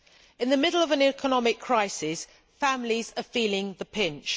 In the middle of an economic crisis, families are feeling the pinch.